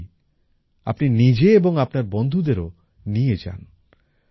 আমি চাই আপনি নিজে এবং আপনার বন্ধুদেরও নিয়ে যান